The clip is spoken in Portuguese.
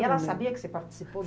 E ela sabia que você participou?